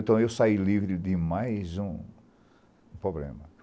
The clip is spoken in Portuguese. Então, eu saí livre de mais um problema.